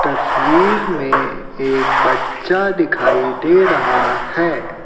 तस्वीर में एक बच्चा दिखाई दे रहा है।